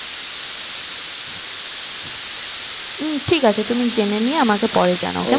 উম ঠিক আছে তুমি জেনে নিয়ে আমাকে পরে জানাও